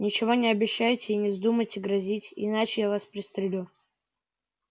ничего не обещайте и не вздумайте грозить иначе я вас пристрелю